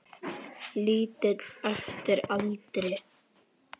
Lítill eftir aldri.